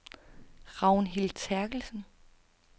Ragnhild Terkelsen